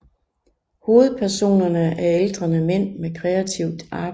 Hovedpersonerne er aldrende mænd med kreativt arbejde